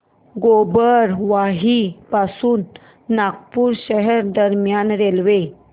गोबरवाही पासून नागपूर शहर दरम्यान रेल्वे